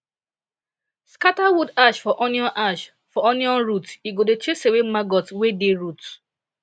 scatter wood ash for onion ash for onion root e go dey chase away maggot wey dey root